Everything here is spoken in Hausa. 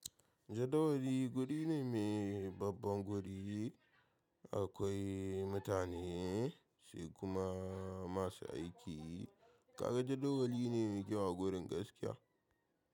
Jadawali guri ne mai babban guri, akwai mutane sai kuma masu aiki. Kaga jadawali ne ke ma gurin gaskiya.